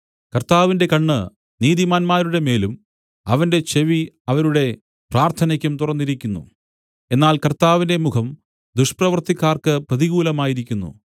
കർത്താവിന്റെ കണ്ണ് നീതിമാന്മാരുടെമേലും അവന്റെ ചെവി അവരുടെ പ്രാർത്ഥനയ്ക്കും തുറന്നിരിക്കുന്നു എന്നാൽ കർത്താവിന്റെ മുഖം ദുഷ്പ്രവൃത്തിക്കാർക്ക് പ്രതികൂലമായിരിക്കുന്നു